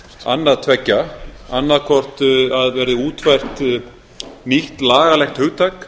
annað tveggja annað hvort að það verði útfært nýtt lagalegt hugtak